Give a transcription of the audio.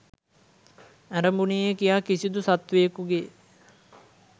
ඇරඹුනේය කියා කිසිදු සත්වයෙකුගේ